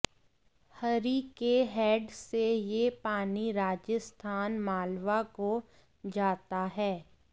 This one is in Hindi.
हरिके हैड से यह पानी राजस्थान मालवा को जाता है